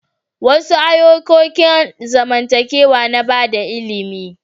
Wasu ayukokin zamantakewa na bada ilimi.